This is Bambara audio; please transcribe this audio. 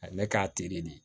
A ye ne k'a de